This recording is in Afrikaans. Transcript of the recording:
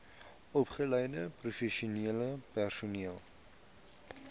opgeleide professionele personeel